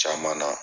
Caman na